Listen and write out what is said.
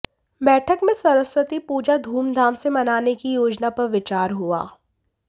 बैठक में सरस्वती पूजा धूमधाम से मनाने की योजना पर विचार हुआ